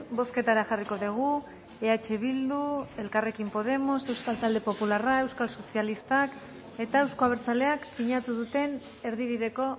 bozketara jarriko dugu eh bildu elkarrekin podemos euskal talde popularra euskal sozialistak eta euzko abertzaleak sinatu duten erdibideko